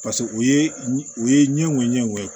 Paseke o ye o ye ɲɛgo ɲɛw ye